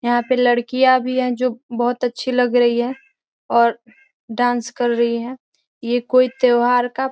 यहाँ पे लड़कियाँ भी है जो बहुत अच्छी लग रही है और डांस कर रही है ये कोई त्योहार का --